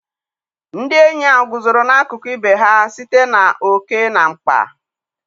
Ndị enyi a guzoro n'akụkụ ibe ha site na oke na mkpa.